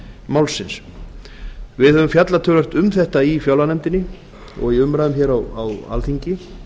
málsins við fjölluðum töluvert um þetta í fjárlaganefndinni og í umræðum hér á alþingi